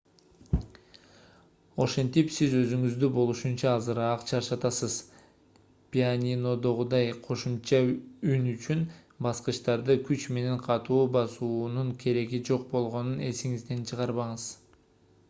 ошентип сиз өзүңүздү болушунча азыраак чарчатасыз пианинодогудай кошумча үн үчүн баскычтарды күч менен катуу басуунун кереги жок болгонун эсиңизден чыгарбаңыз